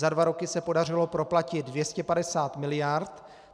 Za dva roky se podařilo proplatit 250 miliard.